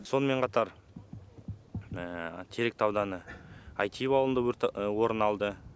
сонымен қатар теректі ауданы әйтиев ауылында өрт орын алды